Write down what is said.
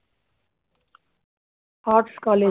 arts college